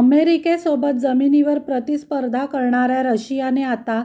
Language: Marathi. अमेरिकेसोबत जमिनीवर प्रतिस्पर्धा करणाऱया रशियाने आता